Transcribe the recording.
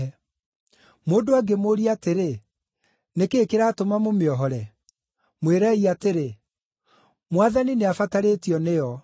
Mũndũ angĩmũũria atĩrĩ, ‘Nĩ kĩĩ kĩratũma mũmĩohore?’ Mwĩrei atĩrĩ, ‘Mwathani nĩabatarĩtio nĩyo.’ ”